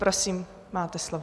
Prosím, máte slovo.